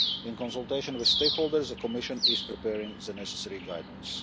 In consultation with stakeholders, the Commission is preparing the necessary guidance.